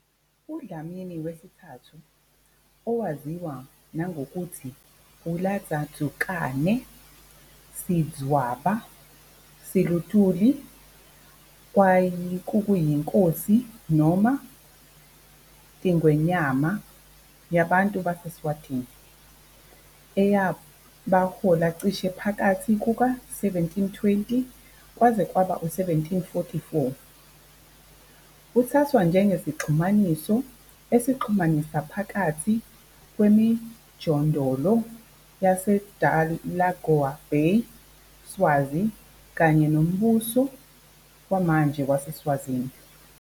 UDlamini III, owaziwa nangokuthi uLadzandzukane noSidvwaba Silutfuli kwakuyinkosi noma i- "tiNgwenyama" yabantu baseSwazini eyabahola cishe phakathi kuka-1720 kwaze kwaba ngu-1744. Uthathwa njengesixhumanisi esixhumanisa phakathi kwemijondolo yaseDelagoa Bay Swazi kanye nombuso wamanje waseSwazini.